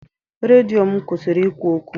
Redio m kwụsịrị ikwu okwu.